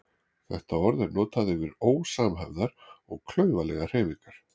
Þetta orð er notað yfir ósamhæfðar og klaufalegar hreyfingar.